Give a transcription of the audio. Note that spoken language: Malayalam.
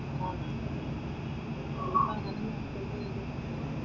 ആഹ്